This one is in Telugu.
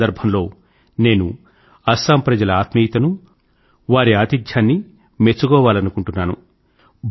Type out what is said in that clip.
ఈ సందర్భంలో నేను అస్సాం ప్రజల ఆత్మీయతనూ వారి ఆతిథ్యాన్నీ మెచ్చుకోవాలనుకుంటున్నాను